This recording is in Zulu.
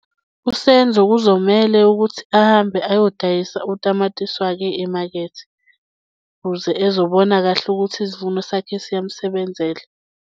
USenzo kuzomele ukuthi ahambe ayodayisa utamatisi wake emakethe, ukuze ezobona kahle ukuthi isivuno sakhe siyamsebenzela.